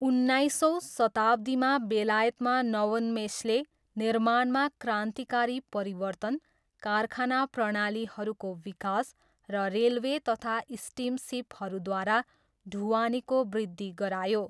उन्नाइसौँ शताब्दीमा, बेलायतमा नवोन्मेषले निर्माणमा क्रान्तिकारी परिवर्तन, कारखाना प्रणालीहरूको विकास, र रेलवे तथा स्टिमसिपद्वारा ढुवानीको बृद्धि गरायो।